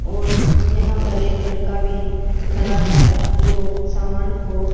और यहां पर एक लड़का भी खड़ा है जो सामान को--